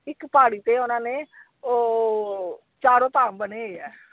ਇੱਕ ਪਹਾੜੀ ਤੇ ਓਹਨਾ ਨੇ ਉਹ ਚਾਰੋ ਧਾਮ ਬਣੇ ਹੋਏ ਆ।